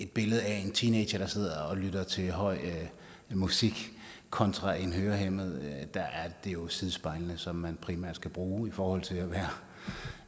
billedet af en teenager der sidder og lytter til høj musik kontra en hørehæmmet at det jo er sidespejlene som man primært skal bruge i forhold til at være